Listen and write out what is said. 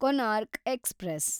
Konark express